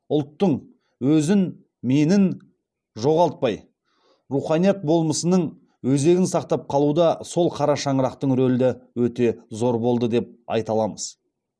ұлттың өзін менін жоғалтпай руханият болмысының өзегін сақтап қалуда сол қара шаңырақтың рөлі өте зор болды деп айта аламыз